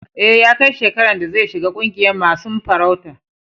E, ya kai shekaran da zai shiga ƙungiyan masun farauta.